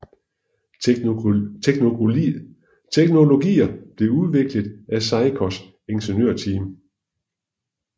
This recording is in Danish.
Teknologier blev udviklet af Seikos ingeniørteam